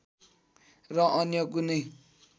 र अन्य कुनै